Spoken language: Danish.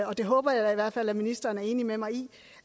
og det håber jeg i hvert fald ministeren er enig med mig i